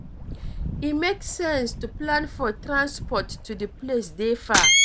E make sense to plan for transport to di place dey far